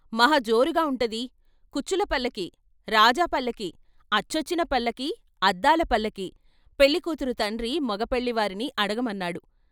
మహాజోరుగా వుంటది, కుచ్చుల పల్లకీ, రాజా పల్లకీ, అచ్చొచ్చిన పల్లకీ, అద్దాల పల్లకి, పెళ్ళి కూతురు తండ్రి మగ పెళ్ళి వారిని అడగమన్నాడు.